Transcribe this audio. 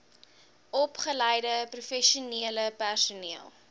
opgeleide professionele personeel